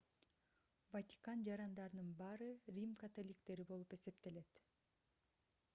ватикан жарандарынын баары рим католиктери болуп эсептелет